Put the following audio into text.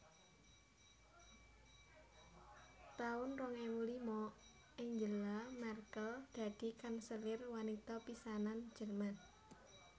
taun rong ewu lima Angela Merkel dadi kanselir wanita pisanan Jerman